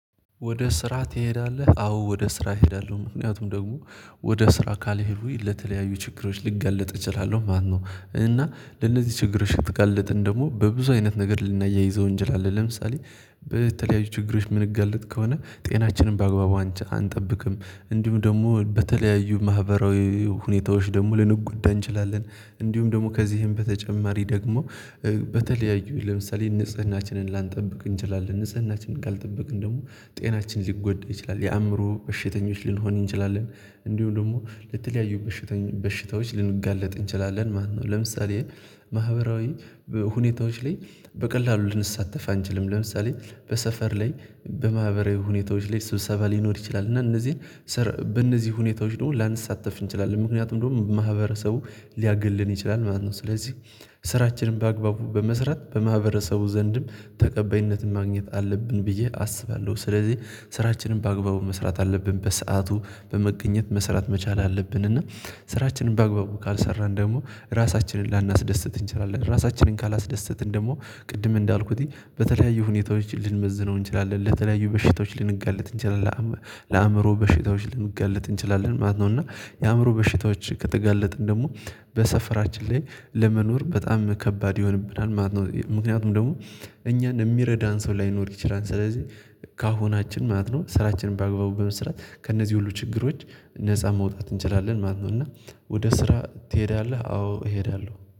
ወደ ስራ ትሄዳለህ? አዎ ወደ ስራ እሄዳለሁ ምክንያቱም ደግሞ ወደ ስራ ካልሄዱኝ ለተለያዩ ችግሮች ልጋለጥ እችላለሁ ማለት ነው። እና ለነዚህ ችግሮች ብትጋለጥም ደግሞ በብዙ አይነት ነገር ልናያይዘው እንችላለን ለምሳሌ በተለያዩ ችግሮች የምንገለጥ ከሆነ ጤናችንን በአግባቡ አንጠብቅም እንዲሁ ደግሞ በተለያዩ ማህበራዊ ሁኔታዎች ደግሞ ልንጎዳ እንችላለን። እንዲሁም ደግሞ ከዚህም በተጨማሪ ደግሞ በተለያዩ ለምሳሌ ንጽህናችንን ላንጠብቅ እንችላለን ንጽህናችንን ካልጠበቅን ደግሞ ጤናችን ሊጎዳ ይችላል የአእምሮ በሽተኞች ልንሆን እንችላለን እንዲሁ ደግሞ ለተለያዩ በሽተኞች በሽታዎች ልንጋለጥ እንችላለን ማለት ነው። ለምሳሌ ማህበራዊ ሁኔታዎች ላይ በቀላሉ ልንሳተፍ አንችልም ለምሳሌ በሰፈር ላይ በማህበራዊ ሁኔታዎች ላይ ስብሰባ ሊኖር ይችላል እና እነዚህን በእነዚህ ሁኔታዎች ደግሞ ላንሳተፍ እንችላለን ምክንያቱም ደግሞ ማህበረሰቡ ሊያግለን ይችላል ማለት ነው። ስለዚህ ስራችንም በአግባቡ በመስራት በማህበረሰቡ ዘንድም ተቀበይነትን ማግኘት አለብን ብዬ አስባለሁ። ስለዚህ ስራችንን በአግባቡ መስራት አለብን በሰአቱ በመገኘት መስራት መቻል አለብን። እና ስራችንን በአግባቡ ካልሰራን ደግሞ ራሳችንን ላናስደስት እንችላለን ራሳችንን ካላስደሰትን ደግሞ ቅድም እንዳልኩትኝ በተለያዩ ሁኔታዎች ልንመዝነው እንችላለን ለተለያዩ በሽታዎች ልንጋለጥ እንችላለን ለአእምሮ በሽታዎች ልንገለጥ እንችላለን ማለት ነው። እና የአእምሮ በሽታዎች ከተጋለጥን ደግሞ በሰፈራችን ላይ ለመኖር በጣም ከባድ ይሆንብናል ማለት ነው። ምክንያቱም ደግሞ እኛን የሚረዳን ሰው ላይኖር ይችላል ስለዚህ ከአሁናችን ማለት ነው ስራችንን በአግባቡ በመስራት ከእነዚህ ሁሉ ችግሮች ነፃ መውጣት እንችላለን ማለት ነው። እና ወደ ስራ ትሄዳለህ? አዎ እሄዳለሁ